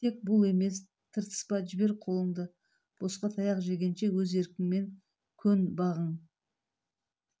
тек бұл емес тыртыспа жібер қолыңды босқа таяқ жегенше өз еркіңмен көн бағың